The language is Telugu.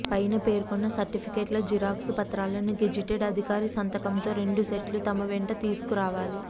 పైన పేర్కొన్న సర్టిఫికేట్ల జరాక్స్ ప్రతులను గెజిటెడ్ అధికారి సంతకంతో రెండు సెట్లు తమ వెంట తీసుకురావాలి